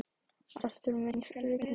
Arthúr, mun rigna í dag?